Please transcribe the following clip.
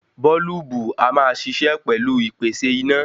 Bọ́ọ́lùbù a máa ṣiṣẹ́ pẹ̀lú ìpèsè iná.